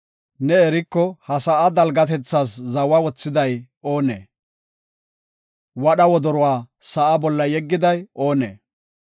Ne eriko, ha sa7aa dalgatethaas zawa wothiday oonee? Wadha wodoruwa sa7a bolla yeggiday oonee?